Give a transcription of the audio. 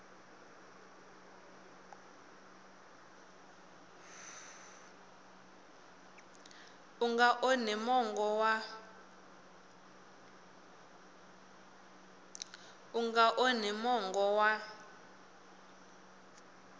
u nga onhi mongo wa